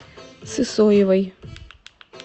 сысоевой